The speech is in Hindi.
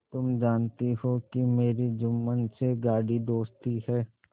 तुम जानती हो कि मेरी जुम्मन से गाढ़ी दोस्ती है